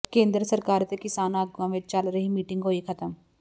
ਕੇਂਦਰ ਸਰਕਾਰ ਅਤੇ ਕਿਸਾਨ ਆਗੂਆਂ ਵਿੱਚ ਚੱਲ ਰਹੀ ਮੀਟਿੰਗ ਹੋਈ ਖਤਮ